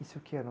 Isso o que era?